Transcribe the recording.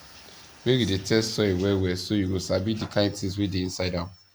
make you dey test soil well well so you go sabi the kind things wey dey inside am